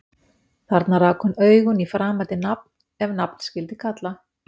Þarna rak hún augun í framandi nafn- ef nafn skyldi kalla